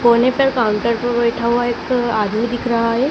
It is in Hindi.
कोने पर काउंटर पर बैठा हुआ एक आदमी दिख रहा है।